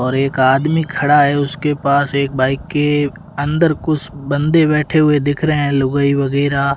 और एक आदमी खड़ा है उसके पास एक बाइक के अंदर कुछ बंदे बैठे हुए दिख रहे है लुगाई वगैरा--